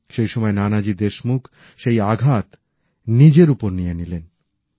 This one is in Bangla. সেই সময় নানাজি দেশমুখ সেই আঘাত নিজের ওপর নিয়ে নিলেন